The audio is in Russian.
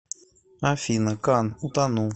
афина кан утону